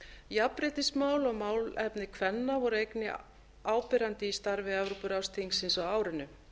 jafnréttismál og málefni kvenna voru einnig áberandi í starfi evrópuráðsþingsins á árinu